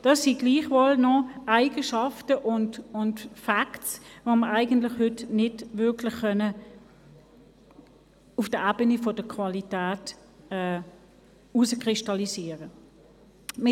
Das sind gleichwohl noch Eigenschaften und Facts, die wir heute auf der Ebene der Qualität nicht wirklich herauskristallisieren können.